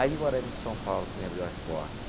Ali de São Paulo, que me abriu as portas.